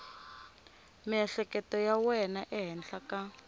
miehleketo ya wena ehenhla ka